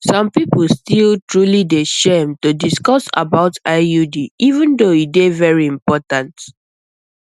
some people still truly dey shame to discuss about iud even though e dey very important